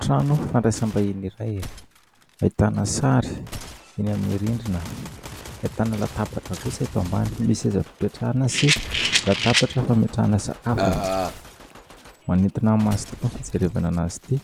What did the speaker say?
Trano fandraisam-bahiny iray, ahitana sary eny amin'ny rindrina, ahitana latabatra kosa eto ambany, misy seza fipetrahana sy latabatra fametrahana sakafo. Manintona ny maso tokoa ny fijerevana azy ity